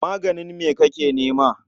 Maganin me kake nema?